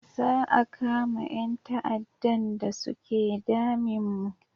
Za a kama yan ta'adan da suke damin mu